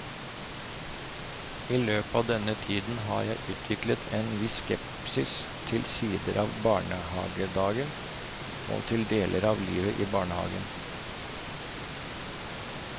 I løpet av denne tiden har jeg utviklet en viss skepsis til sider av barnehagedagen og til deler av livet i barnehagen.